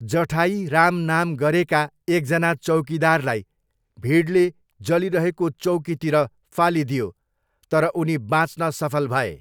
जठाई राम नाम गरेका एकजना चौकीदारलाई भिडले जलिरहेको चौकीतिर फालिदियो तर उनी बाँच्न सफल भए।